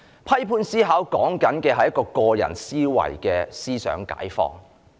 批判思考是指個人的思想解放。